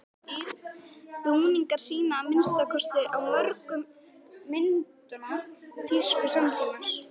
Búningarnir sýna, að minnsta kosti á mörgum myndanna, tísku samtímans.